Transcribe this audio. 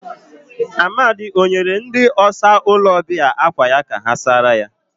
Amadi o nyere ndi ọsa ulo obia akwa ya ka ha sara ya?